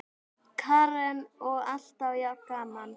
Karen: Og alltaf jafn gaman?